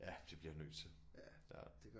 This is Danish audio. Ja det bliver jeg nødt til ja